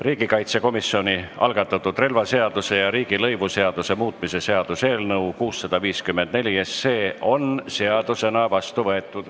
Riigikaitsekomisjoni algatatud relvaseaduse ja riigilõivuseaduse muutmise seaduse eelnõu on seadusena vastu võetud.